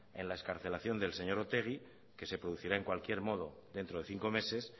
en la excarcelación del señor otegi que se producirá en cualquier modo dentro de cinco meses